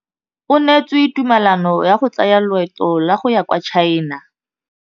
O neetswe tumalanô ya go tsaya loetô la go ya kwa China.